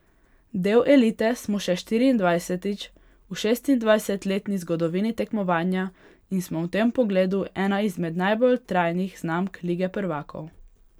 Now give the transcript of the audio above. Del elite smo še štiriindvajsetič v šestindvajsetletni zgodovini tekmovanja in smo v tem pogledu ena izmed najbolj trajnih znamk lige prvakov.